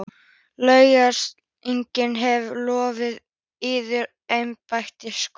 LANDSHÖFÐINGI: Ég hef lofað yður embætti, Skúli.